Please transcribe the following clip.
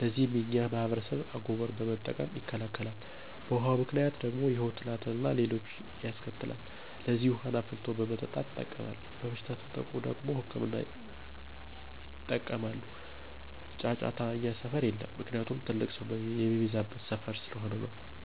ለዚህም የኛ ማህበረሰብ አጎበር በመጠቀም ይከላከላል። በውሀው ምክንያት ደግሞ የሆድ ትላትል አና ሌሎችንም ያስከትላል። ስለዚህ ውሀን አፍልቶ በመጠጣት ይጠቀማል። በበሽታ ከተጠቁ ደግሞ ህክምና ያጠቀማሉ። ጫጫታ እኛ ሰፈር የለም። ምክንያቱም ትልቅ ሰው የሚበዛበት ሰፈር ስለሆነ ነው።